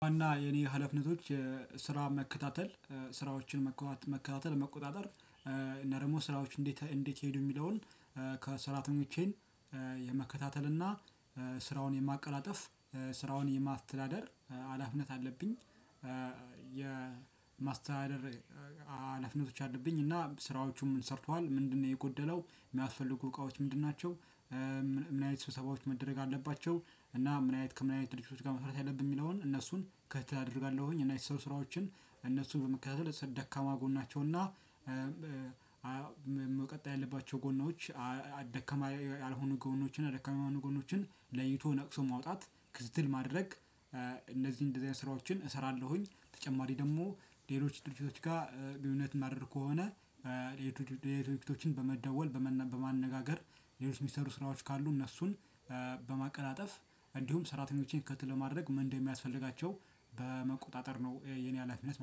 ዋና የኔ ሀላፊነቶች ስራ መከታተል ስራዎችን መከታተል መቆጣጠር እና ደግሞ ስራዎች እንዴት እንዴት ሄዱ የሚለውን ከ ሰራተኞቸን የመከታተል እና ስራውን የማቀላጠፍ ስራውን የማስተዳደር ሀላፊነት አለብኝ። የማስተዳደር አለብኝ እና ስራዎቹን ምን ሰርቷል ምንድነው የጎደለው የሚያስፈልጉ እቃወችን ምንድናቸው። ምን አይነት ሰብሰባዎች መደረግ አለባቸው እና ምን አይነት ከምን አይነት ድርጅቶች ጋር መስራት አለብን የሚለውን እነሱን ከትትል አደርጋለሁኝ። እና የተሰሩ ስራዎችን እነሱን በመከታተል ደካማ ጎናቸውና መቀጠል ያለባቸው ጎኖች ደከማ ያልሆኑ ጎኖችን ደከማ ይሆኑ ጎኖችን ለይቶ ነቅሶ ማውጣት ክስትል ማድረግ። እነዚህ እንደዚህ አይነት ስራዎችን እሰራለሁኝ። ተጨማሪ ደግሞ ሌሎች ድርጅቶች ጋር ግንኙነት ማድረግ ከሆነ። ድርጅቶችን በመደወል በማነጋገር ሌሎች ሚሰሩ ስራዎች ካሉ እነሱን በማቀላጠፍ እንዲሁም ስራተኞችን ከትትል ለማድረግ ምን እንደሚያስፈልጋቸው በመቆጣጠር ነው። የኔ ሀላፊነት